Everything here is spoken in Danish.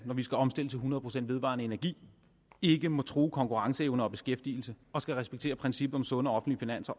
når vi skal omstille til hundrede procent vedvarende energi ikke må true konkurrenceevne og beskæftigelse og skal respektere princippet om sunde offentlige